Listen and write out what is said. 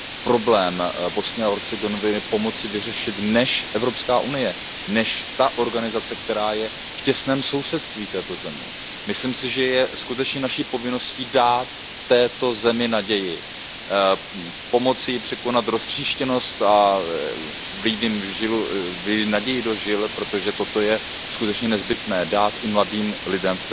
problém Bosny a Hercegoviny pomoci vyřešit než Evropská unie, než organizace, která je v těsném sousedství této země. Myslím si, že je skutečně naší povinností dát té zemi naději, pomoci jí překonat roztříštěnost a vlít naději do žil, protože toto je skutečně nezbytné, dát i mladým lidem v této zemi naději.